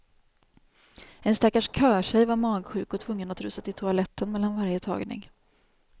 En stackars körtjej var magsjuk och tvungen att rusa till toaletten mellan varje tagning.